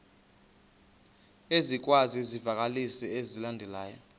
ezikwezi zivakalisi zilandelayo